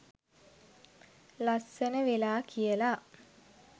ලස්සන වෙලා කියලා.